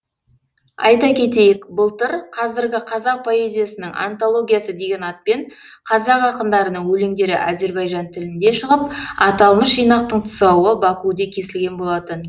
айта кетейік былтыр қазіргі қазақ поэзиясының антологиясы деген атпен қазақ ақындарының өлеңдері әзірбайжан тілінде шығып аталмыш жинақтың тұсауы бакуде кесілген болатын